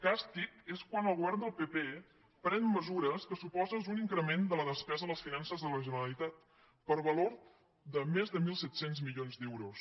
càstig és quan el go·vern del pp pren mesures que suposen un increment de la despesa de les finances de la generalitat per va·lor de més de mil set cents milions d’euros